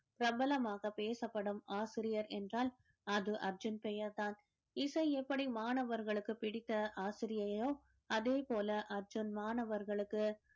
பிரபலமாக பேசப்படும் ஆசிரியர் என்றால் அது அர்ஜுன் பெயர்தான் இசை எப்படி மாணவர்களுக்கு பிடித்த ஆசிரியையோ அதே போல அர்ஜுன் மாணவர்களுக்கு